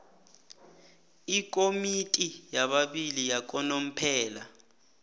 ikomiti yababili yakanomphela